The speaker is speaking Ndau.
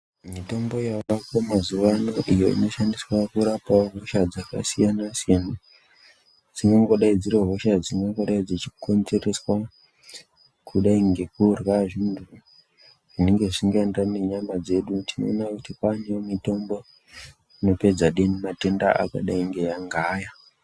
Mutombo yaveko mazuva ano iyo inoshandiswa kurapawo hosha dzakasiyana siyana dzingangodai dziri hosha dzinongorai dzichikonzereswa kudai nekurya zvintu zvinenge zvisikaeneerwni nenyama dzedu tinoona kuti kwaane imwe mitombo inopedza denda matenda akadai nge ngaaya.